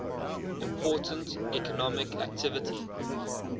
important economic activity